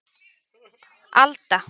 Alda